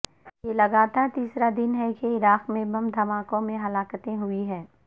یہ لگاتار تیسرا دن ہے کہ عراق میں بم دھماکوں میں ہلاکتیں ہوئی ہیں